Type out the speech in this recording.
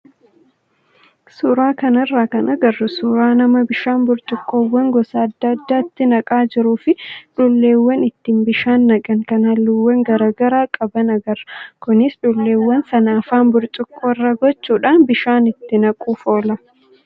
Suuraa kanarraa kan agarru suuraa nama bishaan burcuqqoowwan gosoota adda addaatti naqaa jiruu fi dhulleewwan ittiin bishaan naqan kan halluuwwan garaagaraa qaban agarra. Kunis dhulleewwan sana afaan burcuqqoo irra gochuudhaan bishaan itti naquuf oola.